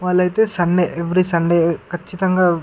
వాళ్ళైతే Sunday every Sunday కచ్చితంగా--